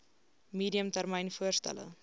medium termyn voorstelle